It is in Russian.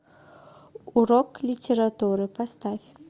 урок литературы поставь